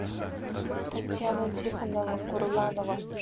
татьяна тихонова курланова